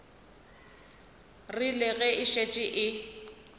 rile ge e šetše e